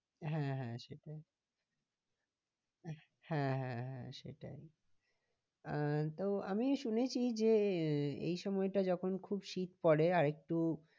হ্যাঁ হ্যাঁ সেটাই হ্যাঁ হ্যাঁ হ্যাঁ সেটাই আহ তো আমি শুনেছি যে এই সময়টা যখন খুব শীত পরে আর একটু